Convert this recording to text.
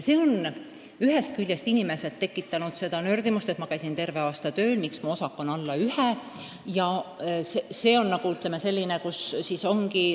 See on inimestes nördimust tekitanud: ma käisin terve aasta tööl, miks mu osak on alla 1?